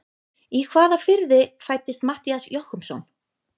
Í hvaða firði fæddist Matthías Jochumsson?